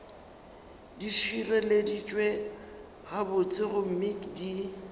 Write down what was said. di šireleditšwe gabotse gomme di